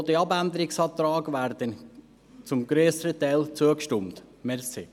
Zudem wird auch dem Abänderungsantrag zum grösseren Teil zugestimmt.